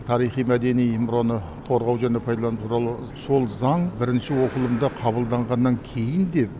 тарихи мәдени мұраны қорғау және пайдалану туралы сол заң бірінші оқылымда қабылданғаннан кейін де